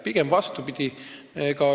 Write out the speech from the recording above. Pigem on vastupidi.